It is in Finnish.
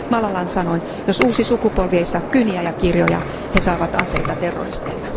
Malalan sanoin, jos uusi sukupolvi ei saa kyniä ja kirjoja, he saavat aseita terroristeilta.